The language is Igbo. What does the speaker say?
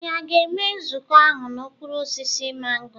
Ànyị a ga-enwe nzukọ ahụ n'okpuru osisi mango?